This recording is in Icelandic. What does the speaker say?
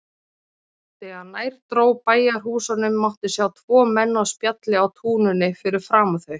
Þegar nær dró bæjarhúsunum mátti sjá tvo menn á spjalli á túninu fyrir framan þau.